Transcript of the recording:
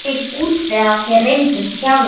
Ég get útvegað þér reyndan þjálfara.